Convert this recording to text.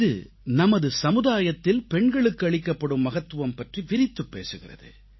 இது நமது சமுதாயத்தில் பெண்களுக்கு அளிக்கப்படும் மகத்துவம் பற்றி விரித்துப் பேசுகிறது